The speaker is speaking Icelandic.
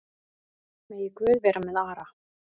Megi Guð vera með Ara.